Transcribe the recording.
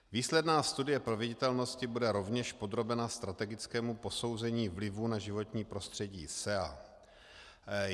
Výsledná studie proveditelnosti bude rovněž podrobena strategickému posouzení vlivů na životní prostředí SEA.